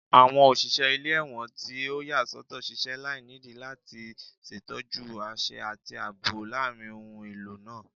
Awọn oṣiṣẹ ile-ẹwọn ti o yasọtọ ṣiṣẹ lainidi lati ṣetọju aṣẹ ati aabo laarin ohun elo naa